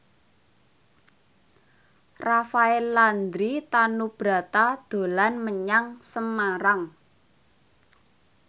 Rafael Landry Tanubrata dolan menyang Semarang